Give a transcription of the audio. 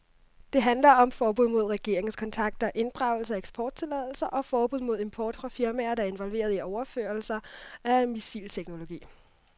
Det handler om forbud mod regeringskontakter, inddragelse af eksporttilladelser og forbud mod import fra firmaer, der er involveret i overførelser af missilteknologi.